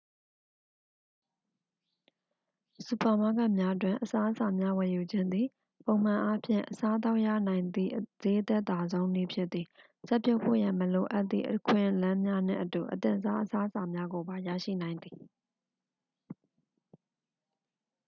စူပါမားကတ်များတွင် အစားအစာများဝယ်ယူခြင်းသည် ပုံမှန်အားဖြင့် အစားအသောက်ရနိုင်သည့် ဈေးအသက်သာဆုံးနည်းဖြစ်သည် ချက်ပြုတ်ဖို့ရန် မလိုအပ်သည့် အခွင့်အလမ်းများနှင့်အတူ အသင့်စား အစားအစာများကိုပါ ရရှိနိုင်သည်